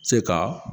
Se ka